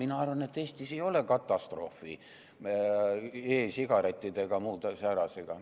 Mina arvan, et Eestis ei ole katastroofi e-sigarettide ega muu säärasega.